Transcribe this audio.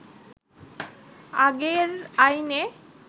আগের আইনে